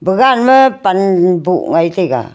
bagan ma pan boh ngaitaiga.